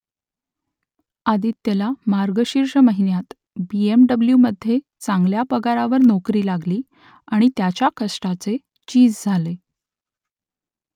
आदित्यला मार्गशीर्ष महिन्यात B M W मध्ये चांगल्या पगारावर नोकरी लागली आणि त्याच्या कष्टाचे चीज झाले